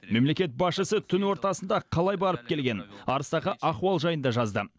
мемлекет басшысы түн ортасында қалай барып келгенін арыстағы ахуал жайында жазды